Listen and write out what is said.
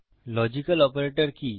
logical operator কি